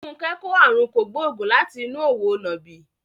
Funke kò àrùn kògbóògùn láti inú òwò nàbì.